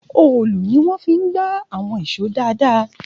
Òòlù ni wọ́n fi ń gba àwọn ìṣó dáadáa